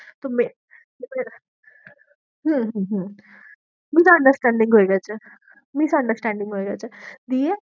তো হম হম হম misunderstanding হয়ে গেছে, misunderstanding হয়ে গেছে, দিয়ে